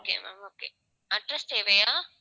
okay ma'am okay address தேவையா